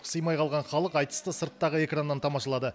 сыймай қалған халық айтысты сырттағы экраннан тамашалады